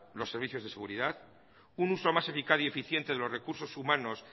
los servicios de seguridad un uso más eficaz y eficiente de los recursos humanos